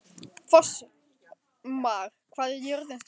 Fossmar, hvað er jörðin stór?